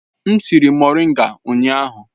M siri moringa ụnyahụ.